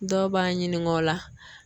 Dɔw b'a ɲininga o la